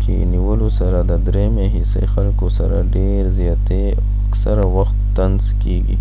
کې نیولو سره د دریمه حصه خلکو سره ډیر زیاتۍ او اکثره وخت طنز کېږي